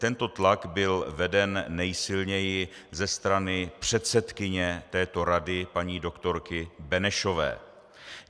Tento tlak byl veden nejsilněji ze strany předsedkyně této rady, paní doktorky Benešové.